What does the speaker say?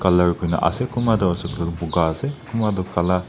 colour koi na ase kunba toh ase koiley toh boga ase kunba tu kala--